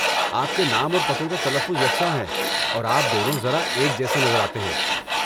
آپ کے نام اور پتوں کا تلفظ یکساں ہے، اور آپ دونوں ذرا ایک جیسے نظر آتے ہیں۔